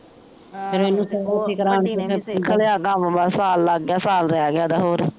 ਕੰਮ ਮਾ ਸਾਲ ਲਗ ਗਿਆ ਸਾਲ ਰੇਹ ਗਿਆ ਏਹਦਾ ਹੋਰ